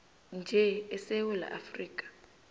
nje esewula afrika